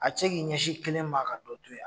A ti se k'i ɲɛsin kelen ma ka dɔ te yen a ?